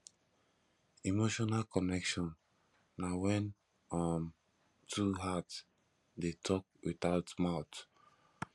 emotional connection na wen um two heart dey tok witout mouth